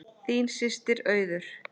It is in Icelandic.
Þín systir Auður.